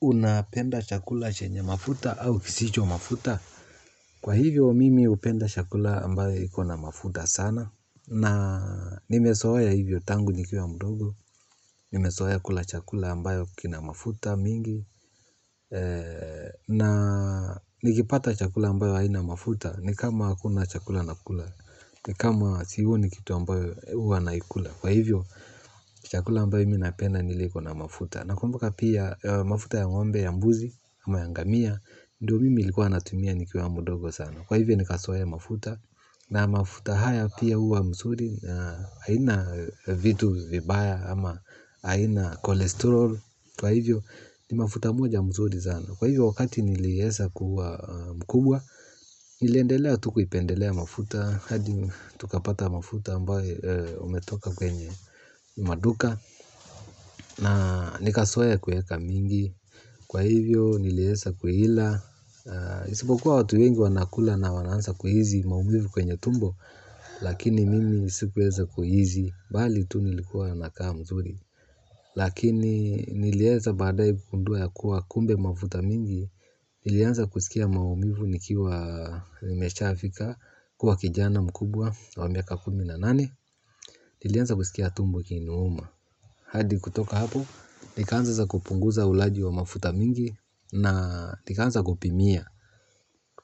Unapenda chakula chenye mafuta au kisicho mafuta? Kwa hivyo mimi hupenda chakula ambayo iko na mafuta sana. Na nimezoea hivyo tangu nikiwa mdogo. Nimezoa kula chakula ambayo kina mafuta mingi. Na nikipata chakula ambayo haina mafuta. Ni kama hakuna chakula nakula. Ni kama sioni kitu ambayo hua naikula. Kwa hivyo chakula ambayo imi napenda ni ile iko na mafuta. Na kumbuka pia mafuta ya ng'ombe ya mbuzi ama ya ngamia, ndiyo mimi nilikuwa natumia nikiwa mdogo sana. Kwa hivyo nikazoea mafuta, na mafuta haya pia huwa nzuri. Haina vitu vibaya, ama haina kolesterol. Kwa hivyo ni mafuta moja nzuri sana. Kwa hivyo wakati niliweza kua mkubwa. Niliendelea tu kuipendelea mafuta hadi tukapata mafuta ambayo umetoka kwenye maduka, na nikazoea kuweka mingi kwa hivyo nileweza kuila isipokuwa watu wengi wanakula na wananza kuhisi maumivu kwenye tumbo. Lakini mimi sikuweza kuhisi. Bali tu nilikuwa nakaa mzuri. Lakini nileweza badae kugundua ya kuwa kumbe mafuta mingi. Nilianza kusikia maumivu nikiwa nimeshafika kuwa kijana mkubwa wa miaka kumi na nane. Nilianza kusikia tumbo likiniuma. Hadi kutoka hapo, nikaanza sasa kupunguza ulaji wa mafuta mingi, na nikaanza kupimia.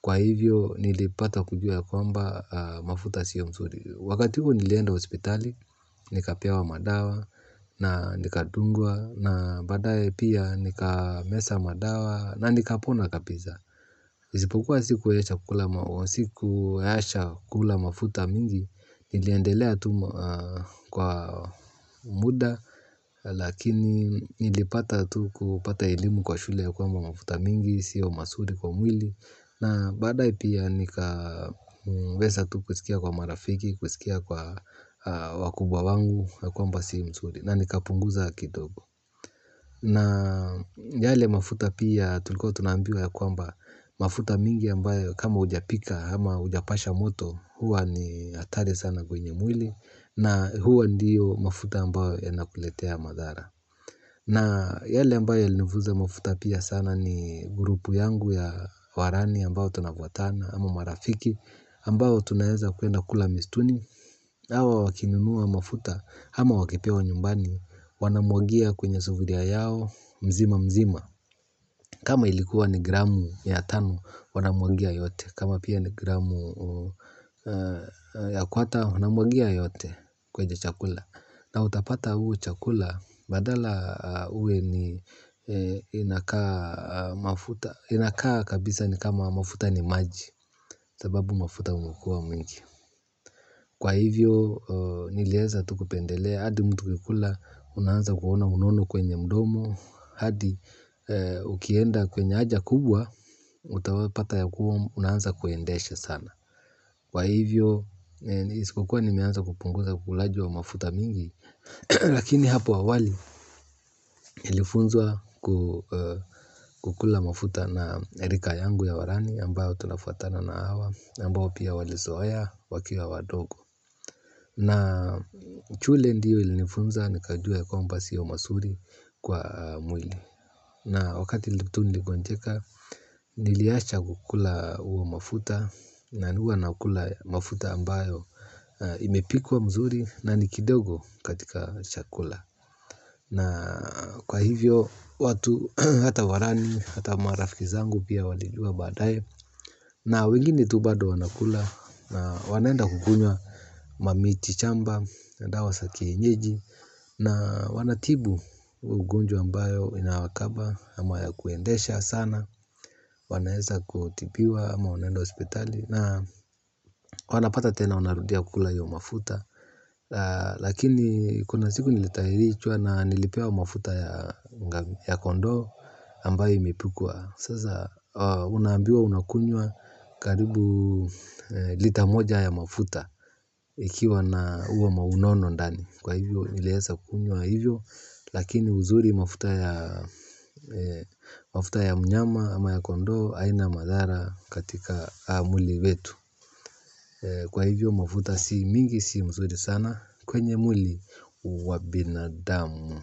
Kwa hivyo, nilipata kujua ya kwamba mafuta siyo msuri. Wakati huo nilienda hospitali, nikapewa madawa na nikadungwa na badaye pia nikameza madawa na nikapona kapisa. Japokuwa sikuacha kukula mafuta mingi. Niliendelea tu kwa muda. Lakini nilipata tu kupata elimu kwa shule ya kwamba mafuta mingi sio mazuri kwa mwili na baadae pia nika weza tu kusikia kwa marafiki kusikia kwa wakubwa wangu ya kwamba si mzuri. Na nikapunguza kidogo. Na yale mafuta pia tulikuwa tunaambiwa ya kwamba mafuta mingi ambayo kama hujapika ama hujapasha moto huwa ni hatari sana kwenye mwili na huwa ndiyo mafuta ambayo yanakuletea madhara na yale ambayo ilinifunza mafuta pia sana ni grupu yangu ya warani ambayo tunakwatana ama marafiki ambayo tunaheza kuenda kula mistuni hawa wakinunua mafuta ama wakipewa nyumbani wanamwagia kwenye sofuria yao mzima mzima. Kama ilikuwa ni gramu ya tano, wanamwangia yote. Kama pia ni gramu ya kwota, wanamwangia yote kwenye chakula. Kama utapata ule chakula, badala uwe ni inakaa mafuta, inakaa kabisa ni kama mafuta ni manji sababu mafuta inakuwa mingi. Kwa hivyo, niliweza tu kupendelea, hadi mtu kukula, unanza kuona unono kwenye mdomo, hadi ukienda kwenye haja kubwa, utapata ya kubwa, unanza kuendesha sana. Kwa hivyo, ni sikukua nimeanza kupunguza ulaji wa mafuta mingi, lakini hapo awali, nilifunzwa kukula mafuta na rika yangu ya warani, ambayo tunafuatana na hawa, ambao pia walizoea, wakiwa wadogo. Na shule ndiyo ilinifunza nikajua ya kwamba sio mazuri kwa mwili. Na wakati tu niligonjeka, niliacha kukula uwa mafuta. Na huwa nakula mafuta ambayo imepikwa mzuri na ni kidogo katika chakula. Na kwa hivyo watu hata warani hata marafiki zangu pia walijua badaye. Na wengine tu bado wanakula na wanaenda kukunywa mamiti shamba, dawa za kienyeji. Na wanatibu ugonjwa ambayo inawakaba ama ya kuendesha sana. Wanaweza kutibiwa ama wanaenda hospitali. Na wanapata tena unarudia kula iyo mafuta. Lakini kuna siku nilitahirichwa na nilipewa mafuta ya kondoo ambayo imipikwa. Sasa unaambiwa unakunywa karibu lita moja ya mafuta. Ikiwa na uwa maunono ndani. Kwa hivyo niliweza kunywa hivyo. Lakini uzuri mafuta ya mnyama ama ya kondoo, haina madhara katika mwili wetu. Kwa hivyo mafuta si mingi si nzuri sana. Kwenye mwili wa bina amu.